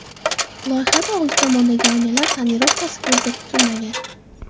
Loyihada oldi tomondagi oynalar tonirovkasi ko‘zda tutilmagan.